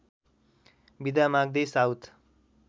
बिदा माग्दै साउथ